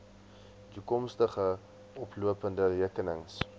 toekomstige lopende rekenings